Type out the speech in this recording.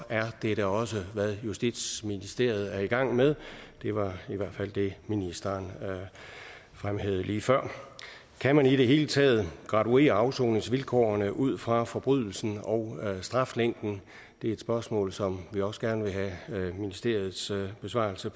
er det da også hvad justitsministeriet er i gang med det var i hvert fald det ministeren fremhævede lige før kan man i det hele taget graduere afsoningsvilkårene ud fra forbrydelsen og straflængden det er et spørgsmål som vi også gerne vil have ministeriets besvarelse